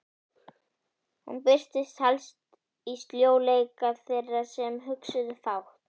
Hún birtist helst í sljóleika þeirra sem hugsuðu fátt.